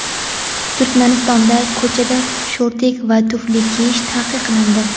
Turkmanistonda ko‘chada shortik va tufli kiyish taqiqlandi.